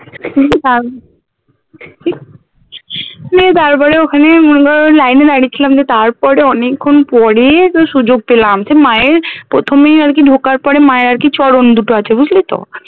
নিয়ে তারপরে ওখানে মনে কর line এ দাঁড়িয়েছিলাম দিয়ে তারপরে অনেক্ষন পরে তোর সুযোগ পেলাম সেই মায়ের প্রথমেই আর কি ঢোকার পরে মায়ের আর কি চরণ দুটো আছে বুঝলি তো